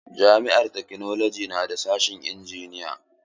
Jami'ar taknolaji na da sashen injiniya.